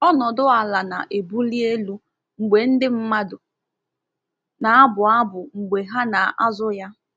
Ọnọdụ ala na-ebuli elu mgbe ndị mmadụ na-abụ abụ mgbe ha na-azụ ya.